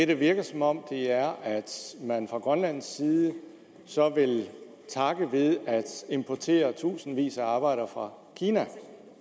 det virker som om man fra grønlands side så vil takke ved at importere i tusindvis af arbejdere fra kina